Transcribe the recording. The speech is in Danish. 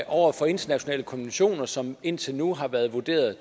over for internationale konventioner som indtil nu har været vurderet